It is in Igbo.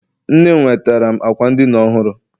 Nne m nwetara m ákwà ndina ọhụrụ.